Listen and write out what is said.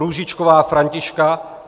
Růžičková Františka